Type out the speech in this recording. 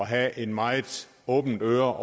have et meget åbent øre